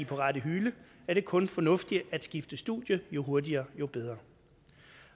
på rette hylde er det kun fornuftigt at skifte studie jo hurtigere jo bedre